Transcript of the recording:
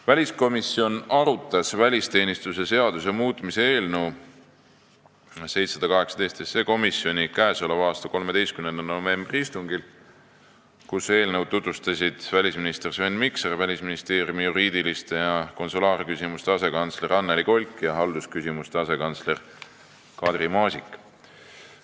Väliskomisjon arutas välisteenistuse seaduse muutmise eelnõu 718 komisjoni k.a 13. novembri istungil, kus seda tutvustasid välisminister Sven Mikser, Välisministeeriumi juriidiliste ja konsulaarküsimuste asekantsler Annely Kolk ning haldusküsimuste asekantsler Kadri Maasik.